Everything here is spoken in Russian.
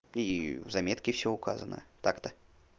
и в заметке всё указано так-то